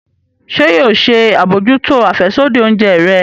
Ṣe yoo ṣe abojuto afẹsodi oúnjẹ rẹ?